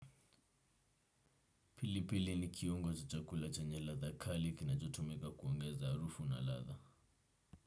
Pilipili ni kiungo za chakula chenya ladha kali kinachotumika kuongeza arufu na ladha.